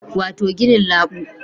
Wato ginin labu